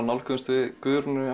nálguðumst við Guðrúnu